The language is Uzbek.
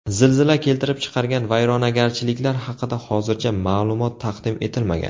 Zilzila keltirib chiqargan vayronagarchiliklar haqida hozircha ma’lumot taqdim etilmagan.